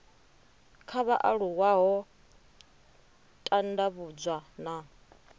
kha vhaaluwa ho tandavhudzwa na